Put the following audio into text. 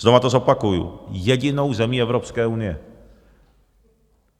Znova to zopakuji - jedinou zemí Evropské unie.